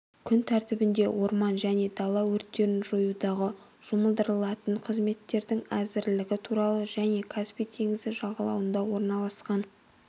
күн тәртібінде орман және дала өрттерін жоюдағы жұмылдырылатын қызметтердің әзірлігі туралы және каспий теңізі жағалауында орналасқан